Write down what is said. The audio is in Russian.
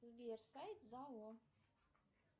сбер сайт зао